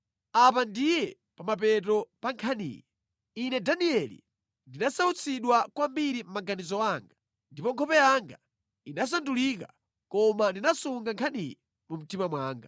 “Apa ndiye pa mapeto pa nkhaniyi. Ine Danieli, ndinasautsidwa kwambiri mʼmaganizo anga, ndipo nkhope yanga inasandulika, koma ndinasunga nkhaniyi mu mtima mwanga.”